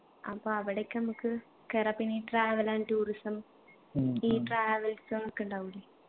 അപ്പൊ അവിടേക്ക് അമ്മക്ക് കേറാ പിന്നെ ഈ travel and tourism ഈ travels ഒക്കെ ഉണ്ടാവൂലെ